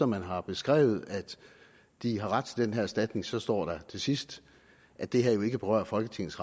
man har beskrevet at de har ret til den her erstatning så står der til sidst at det her jo ikke berører folketingets